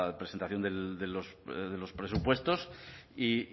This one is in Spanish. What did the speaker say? presentación de los presupuestos y